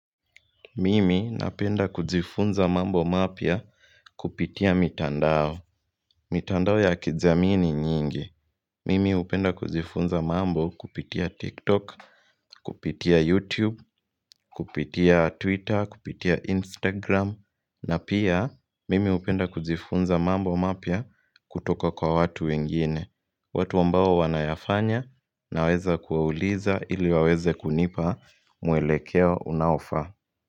Mimi napenda kujifunza mambo mapya kupitia mitandao. Mitandao ya kijamii ni mingi. Mimi upenda kujifunza mambo kupitia TikTok, kupitia YouTube, kupitia Twitter, kupitia Instagram. Na pia, Mimi upenda kujifunza mambo mapya kutoka kwa watu wengine. Watu ambao wanayafanya na weza kuwauliza ili waweze kunipa mwelekea unaofa.